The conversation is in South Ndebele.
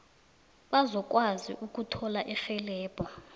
bazokwazi ukuthola irhelebho